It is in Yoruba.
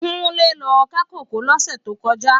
Kunle lò ká kókòó lòsè tókòjá